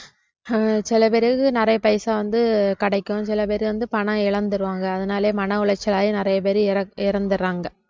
ஆஹ் சில பேருக்கு நிறைய பைசா வந்து கிடைக்கும் சில பேர் வந்து பணம் இழந்துருவாங்க அதனாலயே மன உளைச்சலாகி நிறைய பேரு இற~ இறந்~ இறந்துடுறாங்க